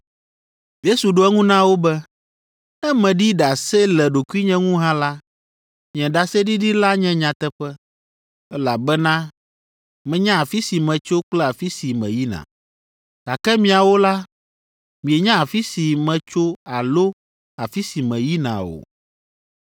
Yesu ɖo eŋu na wo be, “Ne meɖi ɖase le ɖokuinye ŋu hã la, nye ɖaseɖiɖi la nye nyateƒe, elabena menya afi si metso kple afi si meyina. Gake miawo la, mienya afi si metso alo afi si meyina o.